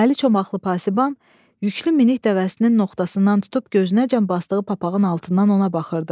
Əli çomaqlı pasiban yüklü minik dəvəsinin noxtasından tutub gözünəcən basdığı papağın altından ona baxırdı.